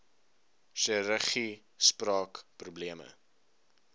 chirurgie spraak probleme